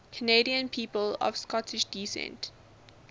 canadian people of scottish descent